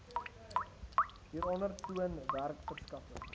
hieronder toon werkverskaffing